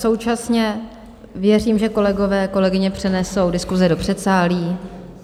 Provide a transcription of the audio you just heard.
Současně věřím, že kolegové, kolegyně přenesou diskuse do předsálí.